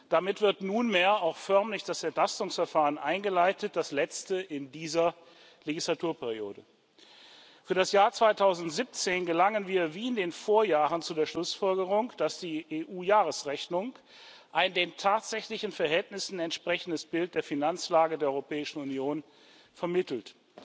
Damit wird nunmehr auch förmlich das Entlastungsverfahren eingeleitet, das letzte in dieser Legislaturperiode. Für das Jahr 2017 gelangen wir, wie in den Vorjahren, zu der Schlussfolgerung, dass die EU Jahresrechnung ein den tatsächlichen Verhältnissen entsprechendes Bild der Finanzlage der Europäischen Union vermittelt.